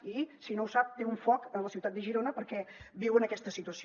i si no ho sap té un foc a la ciutat de girona perquè viuen aquesta situació